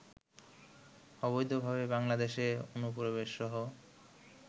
অবৈধভাবে বাংলাদেশে অনুপ্রবেশসহ